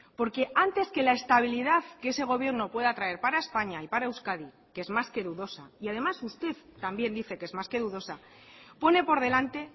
porque antes que la estabilidad que ese gobierno pueda traer para españa y para euskadi que es más que dudosa y además usted también dice que es más que dudosa pone por delante